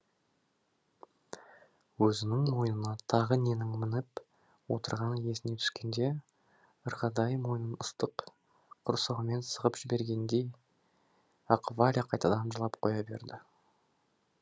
өзінің мойнына тағы ненің мініп отырғаны есіне түскенде ырғайдай мойнын ыстық құрсаумен сығып жібергендей ақ валя қайтадан жылап қоя берді